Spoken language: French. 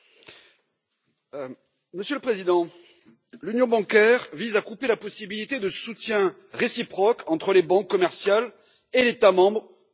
Monsieur le Président, l'Union bancaire vise à couper la possibilité de soutien réciproque entre les banques commerciales et l'État membre d'où elles sont originaires.